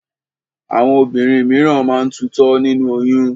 Àwọn obìnrin míràn máa ń tutọ́ nínú oyún.